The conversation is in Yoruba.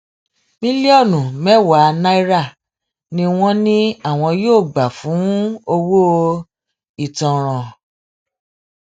mílíọnù mẹwàá náírà ni wọn ní àwọn yóò gbà fún owó ìtanràn